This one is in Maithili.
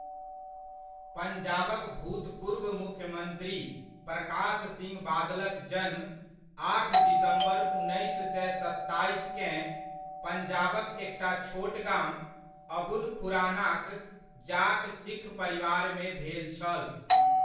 पंजाबक भूतपूर्व मुख्यमन्त्री प्रकाश सिंह बादलक जन्म आठ दिसम्बर उन्नैस सए सत्ताइसकेँ, पंजाबक एकटा छोट गाम, अबुल खुरानाक, जाट सिख परिवारमे भेल छल।